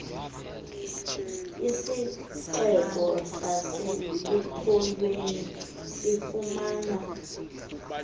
isixeko sasekupholeni sifumana